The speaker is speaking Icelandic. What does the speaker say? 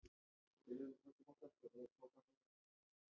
Ef ríkið hætti afskiptum af þeim þá stefni það framtíð þeirra í tvísýnu.